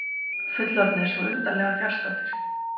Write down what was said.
Fullorðnir svo undarlega fjarstaddir.